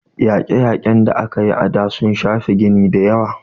Yaƙe - yaƙen da aka yi a da, sun shafi gini dayawa